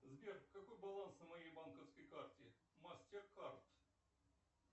сбер какой баланс на моей банковской карте мастеркард